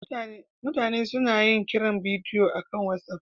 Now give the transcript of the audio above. Mutane suna yin kiran bidiyo akan WhatsApp